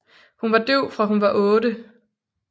Hun var døv fra hun var otte